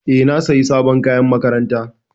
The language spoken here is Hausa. E, na sayi sabon kayan makaranta.